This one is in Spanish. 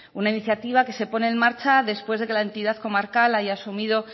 una iniciativa que se pone en marcha después de que la entidad comarcal haya asumido